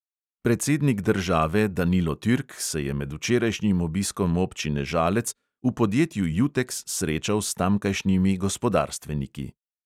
Predsednik države danilo turk se je med včerajšnjim obiskom občine žalec v podjetju juteks srečal s tamkajšnjimi gospodarstveniki.